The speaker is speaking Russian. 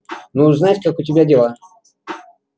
ну узнать как у тебя дела